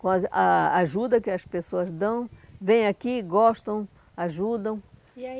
Com a a ajuda que as pessoas dão, vêm aqui, gostam, ajudam. E aí